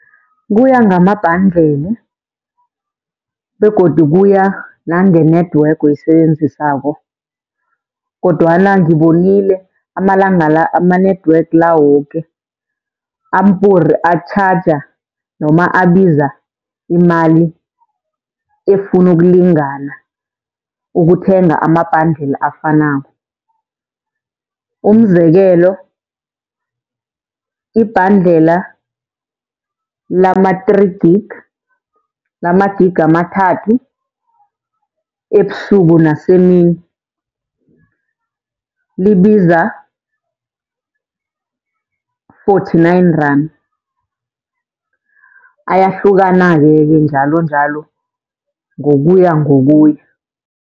Kuya ngama-bundle begodu kuya nange-network oyisebenzisako, kodwana ngibonile amalanga la ama-network la woke ampuri atjhaja noma abiza imali efuna ukulingana ukuthenga ama-bundle afanako. Umzekelo ibhandlela lama-three gig, lama-gig amathathu ebusuku nasemini, libiza-forty-nine rand ayahlukanake-ke njalonjalo ngokuya ngokuya.